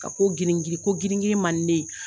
Ka ko girin girin ko girin man ne ye